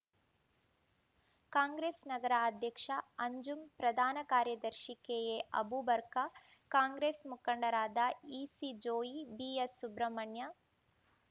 ಕಾಂಗ್ರೆಸ್‌ ನಗರ ಅಧ್ಯಕ್ಷ ಅಂಜುಂ ಪ್ರಧಾನ ಕಾರ್ಯದರ್ಶಿ ಕೆಎ ಅಬೂಬರ್ಕ ಕಾಂಗ್ರೆಸ್‌ ಮುಖಂಡರಾದ ಇಸಿ ಜೋಯಿ ಬಿಎಸ್‌ ಸುಬ್ರಮಣ್ಯ